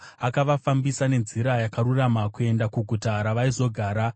Akavafambisa nenzira yakarurama kuenda kuguta ravaizogara.